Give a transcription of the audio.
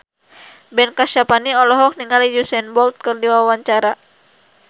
Ben Kasyafani olohok ningali Usain Bolt keur diwawancara